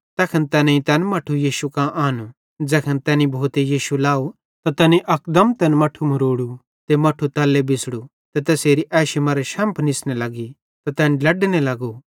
तैखन तैनेईं तैन मट्ठू यीशु कां आनू ज़ैखन तैनी भूते यीशु लाव त तैनी अकदम तैन मट्ठू मरोड़ू ते मट्ठू तल्ले बिछ़ड़ू ते तैसेरी एशी मरां शैम्फ़ निस्ने लग्गी त तैन ड्लेडने लग्गू